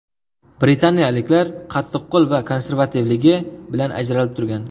Britaniyaliklar qattiqqo‘l va konservativligi bilan ajralib turgan.